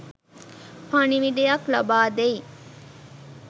පණිවිඩයක් ලබාදෙයි.